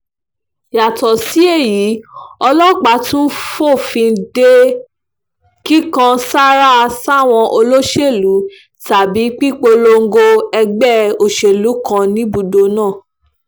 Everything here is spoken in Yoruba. yàtọ̀ sí èyí ọlọ́pàá tún fòfin de kíkàn sára sáwọn olóṣèlú tàbí pípolongo ẹgbẹ́ òṣèlú kan níbùdó náà